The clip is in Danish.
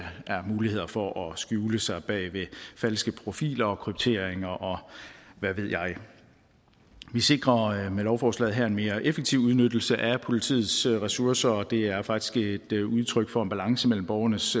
mulighed for at skjule sig bag falske profiler kryptering og hvad ved jeg vi sikrer med lovforslaget her en mere effektiv udnyttelse af politiets ressourcer og det er faktisk et udtryk for en balance mellem borgernes